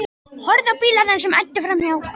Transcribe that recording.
Horfði á bílana sem æddu framhjá.